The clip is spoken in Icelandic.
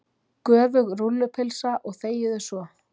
Göfug rúllupylsa og þegiðu svo.